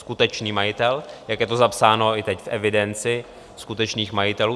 Skutečný majitel, jak je to zapsáno i teď v evidenci skutečných majitelů.